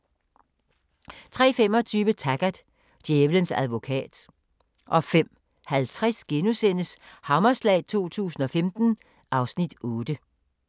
03:25: Taggart: Djævelens advokat 05:50: Hammerslag 2015 (Afs. 8)*